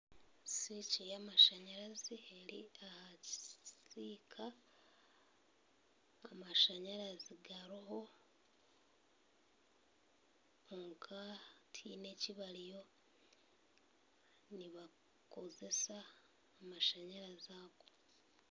Swiki y'amashanyarazi eri aha kisiika, amashanyarazi gariho kwonka tihaine eki bariyo nibakozesa amashanyarazi ago.